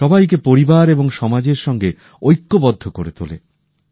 সবাইকে পরিবার এবং সমাজের সঙ্গে ঐক্যবদ্ধ করে তোলে